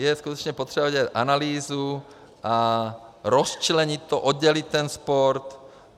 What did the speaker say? Je skutečně potřeba udělat analýzu a rozčlenit to, oddělit ten sport.